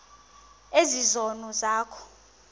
ezi zono zakho